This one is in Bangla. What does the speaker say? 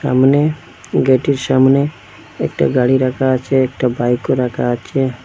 সামনে গেটটির সামনে একটা গাড়ি রাখা আছে একটা বাইকও রাখা আচে।